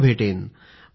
पुन्हा भेटेन